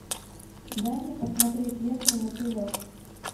дай мне посмотреть ленту мотылек